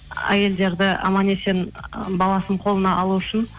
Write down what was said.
әйелдерді аман есен баласын қолына алу үшін